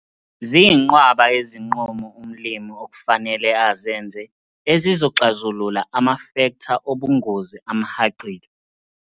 Ziyinqwaba izinqumo umlimi okufanele azenze ezizoxazulula amafektha obungozi amhaqile.